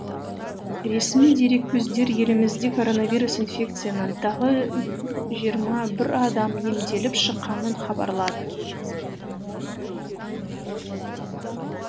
ресми дереккөздер елімізде коронавирус тағы жиырма бір адам емделіп шыққанын хабарлады